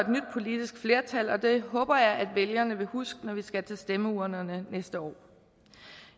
politisk flertal og det håber jeg vælgerne vil huske når vi skal til stemmeurnerne næste år